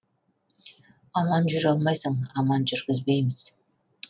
аман жүре алмайсың аман жүргізбейміз